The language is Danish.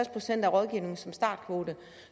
procent af rådgivningen som startkvote